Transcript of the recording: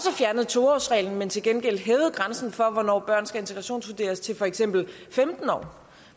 fjernet to års reglen men til gengæld hævet grænsen for hvornår børn skal integrationsvurderes til for eksempel femten år